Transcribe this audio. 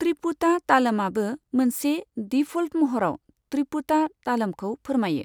त्रिपुटा तालमआबो मोनसे डिफ'ल्ट महराव त्रिपुटा तालमखौ फोरमायो।